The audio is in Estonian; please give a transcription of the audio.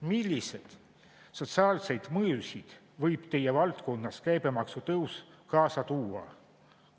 Milliseid sotsiaalseid mõjusid võib teie valdkonnas käibemaksu tõus kaasa tuua?